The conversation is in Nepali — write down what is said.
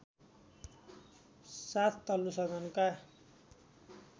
साथ तल्लो सदनका